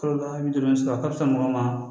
Kalo naani duuru sɔrɔ a ka fisa mɔgɔ ma